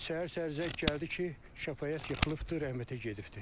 Səhər-səhər zəng gəldi ki, Şəfaət yıxılıbdır, rəhmətə gedibdir.